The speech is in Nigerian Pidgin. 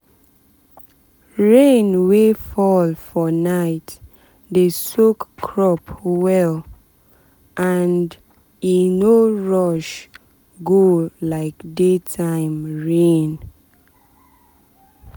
rain wey fall for night dey soak crop well um and e and e um no rush go like daytime rain.